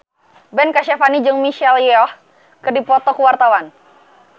Ben Kasyafani jeung Michelle Yeoh keur dipoto ku wartawan